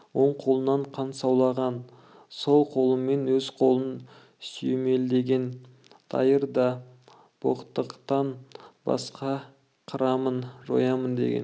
оң қолынан қан саулаған сол қолымен өз қолын сүйемелдеген дайыр да боқтықтан басқа қырамын жоямын деген